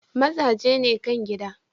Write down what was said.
Mazaje ne kan gida.